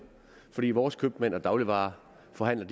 fordi vores købmænd og dagligvareforhandlere